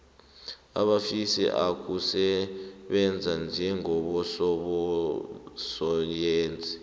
abafisa ukusebenza njengabososayensi